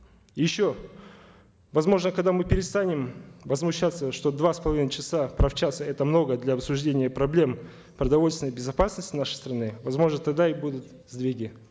еще возможно когда мы перестанем возмущаться что два с половиной часа правчаса это много для обсуждения проблем продовольственной безопасности нашей страны возможно тогда и будут сдвиги